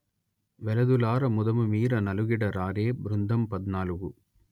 వెలదులార ముదముమీర నలుగిడ రారే బృందంపధ్నాలుగు